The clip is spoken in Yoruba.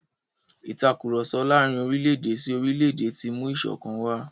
Ìtàkurọ̀sọ láàrin orílẹ̀-èdè sí orílẹ̀-èdè ti mú ìṣọ̀kan wà.